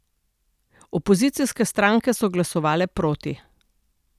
Opozicijske stranke so glasovale proti.